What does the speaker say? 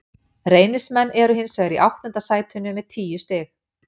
Reynismenn eru hins vegar í áttunda sætinu með tíu stig.